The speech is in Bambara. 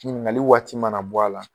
Ɲiningali waati mana bɔ a la,